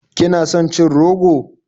Kina son cin rogo?